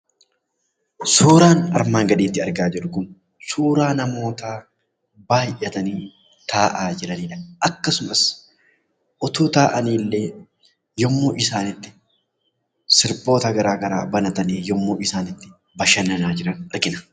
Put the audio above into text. Suuraan armaan gaditti argaa jirru kun, suuraa namootaa baayyatanii taa'aa jiranidha. Akkasumas otoo taa'aniillee yommuu isaan itti sirboota garagaraa banatanii yommuu isaan itti bashananaa jiran argina.